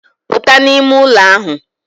Puta n'ime ulo ahu.